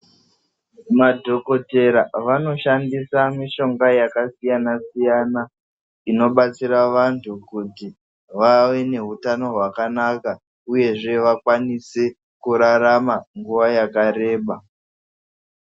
Madhokodhera vanoshandisa mishonga yakasiyana-siyana. Inobatsira vantu kuti vave nehutano hwakanaka uyezve vakwanise kurarama nguva yakareba.